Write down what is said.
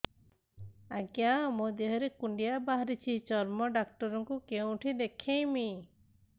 ଆଜ୍ଞା ମୋ ଦେହ ରେ କୁଣ୍ଡିଆ ବାହାରିଛି ଚର୍ମ ଡାକ୍ତର ଙ୍କୁ କେଉଁଠି ଦେଖେଇମି